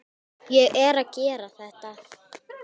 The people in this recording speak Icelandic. Ég er að gera þetta.